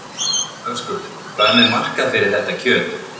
Höskuldur: Hvað með markað fyrir þetta kjöt?